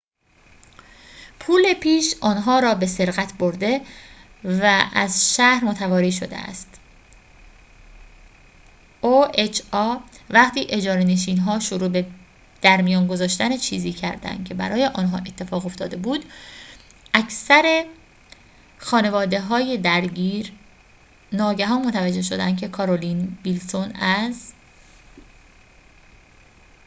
وقتی اجاره‌نشین‌ها شروع به درمیان گذاشتن چیزی کردند که برای آنها اتفاق افتاده بود اکثر خانواده‌های درگیر ناگهان متوجه شدند که کارولین ویلسون از oha پول‌پیش آن‌ها را به سرقت برده و از شهر متواری شده است